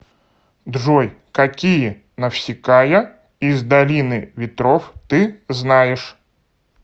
джой какие навсикая из долины ветров ты знаешь